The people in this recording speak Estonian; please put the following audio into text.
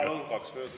Palun, kaks minutit!